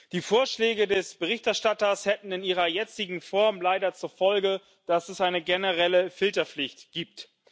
Die Vorschläge des Berichterstatters hätten in ihrer jetzigen Form leider zur Folge, dass es eine generelle Filterpflicht gibt.